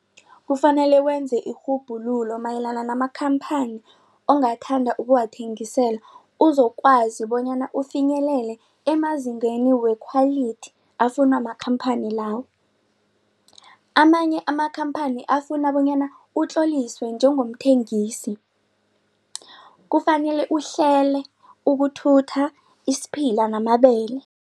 Kufanele wenze irhubhululo mayelana namakhamphani ongathanda ukuwathengisela uzokwazi bonyana ufinyelele emazingeni wekhwalithi afunwa makhamphani lawo. Amanye amakhamphani afuna bonyana utloliswe njengengomthengisi kufanele uhlele ukuthuthe isiphila namabele.